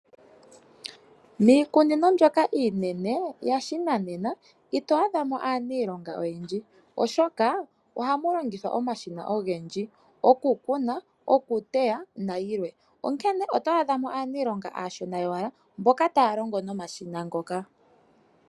Mikunino mbyoka iinene yashinanena itwadhamo aanilonga oyendji oshoka oha mulongithwa omashina ogendji, okukuna okuteya nayilwe onkene otwa dhamo aanilonga ashona yowala mboka talongo omashina ngoka.